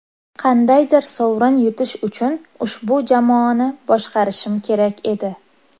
Qandaydir sovrin yutish uchun ushbu jamoani boshqarishim kerak edi.